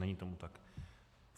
Není tomu tak.